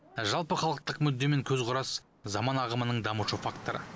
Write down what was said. жалпыхалықтық мүдде мен көзқарас заман ағымының дамушы факторы